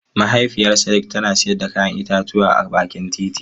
Mahaifiyar Sadiq tana sayar da 'ya'yan itatuwa a bakin hanya.